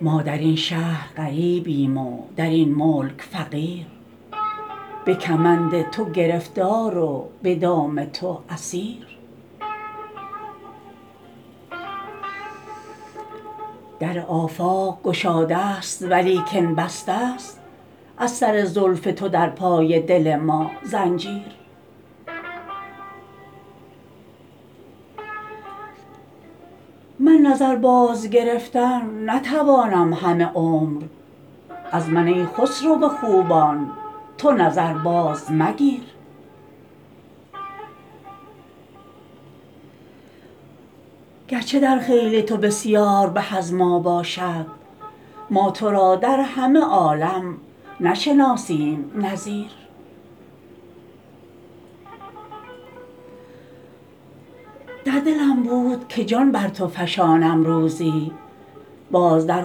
ما در این شهر غریبیم و در این ملک فقیر به کمند تو گرفتار و به دام تو اسیر در آفاق گشاده ست ولیکن بسته ست از سر زلف تو در پای دل ما زنجیر من نظر بازگرفتن نتوانم همه عمر از من ای خسرو خوبان تو نظر بازمگیر گرچه در خیل تو بسیار به از ما باشد ما تو را در همه عالم نشناسیم نظیر در دلم بود که جان بر تو فشانم روزی باز در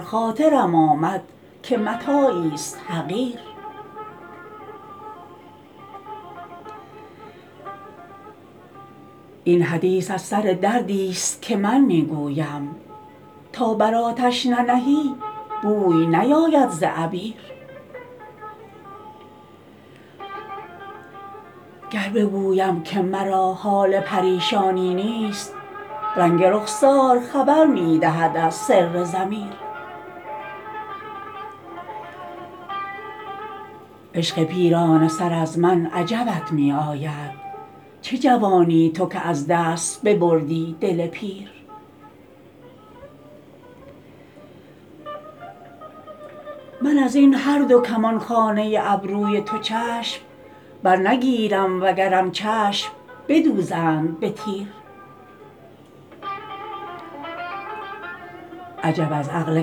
خاطرم آمد که متاعیست حقیر این حدیث از سر دردیست که من می گویم تا بر آتش ننهی بوی نیاید ز عبیر گر بگویم که مرا حال پریشانی نیست رنگ رخسار خبر می دهد از سر ضمیر عشق پیرانه سر از من عجبت می آید چه جوانی تو که از دست ببردی دل پیر من از این هر دو کمانخانه ابروی تو چشم برنگیرم وگرم چشم بدوزند به تیر عجب از عقل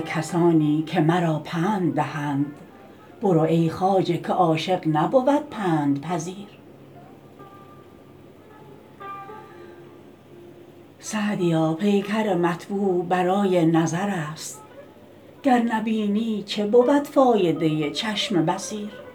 کسانی که مرا پند دهند برو ای خواجه که عاشق نبود پندپذیر سعدیا پیکر مطبوع برای نظر است گر نبینی چه بود فایده چشم بصیر